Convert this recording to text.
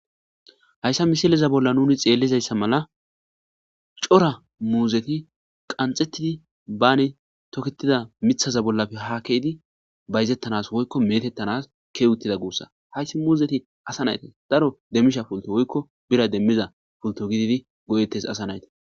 Hayssa misileza bolla nuni xeellizayssa mala cora muuzeti qanxettidi baani toketida mithaza bollape ha keidi bayzettanas woykko metettanas keewuttida guussa hayssi muuzeti asa nayti daro demmisha pulto woykko bira demmiza pulto gididi go7ettes asa nayi.